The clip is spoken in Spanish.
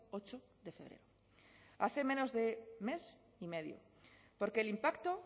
ocho de febrero hace menos de mes y medio porque el impacto